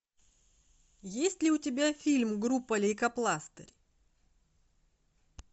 есть ли у тебя фильм группа лейкопластырь